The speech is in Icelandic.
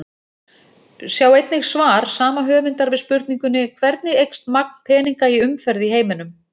Sjá einnig svar sama höfundar við spurningunni Hvernig eykst magn peninga í umferð í heiminum?